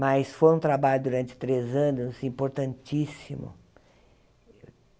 Mas foi um trabalho durante três anos importantíssimo.